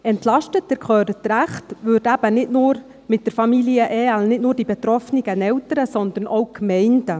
Entlastet, sie hören richtig, würden mit den Familien-Ergänzungsleistungen nicht nur die betroffenen Eltern, sondern auch die Gemeinden.